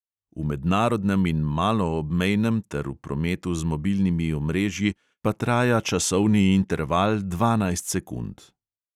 V mednarodnem in maloobmejnem ter v prometu z mobilnimi omrežji pa traja časovni interval dvanajst sekund.